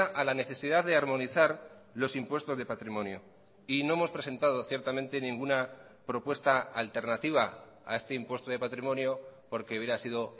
a la necesidad de armonizar los impuestos de patrimonio y no hemos presentado ciertamente ninguna propuesta alternativa a este impuesto de patrimonio porque hubiera sido